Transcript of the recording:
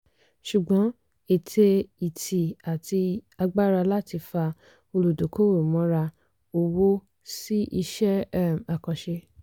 ṣùgbọ́n ète ìtì àti agbára láti fa olùdókòwò mọ́ra owó sí iṣẹ́ um àkànṣe.